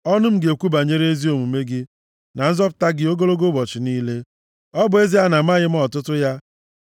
Ọnụ m ga-ekwu banyere ezi omume gị na nzọpụta gị ogologo ụbọchị niile, ọ bụ ezie na-amaghị m ọtụtụ ya.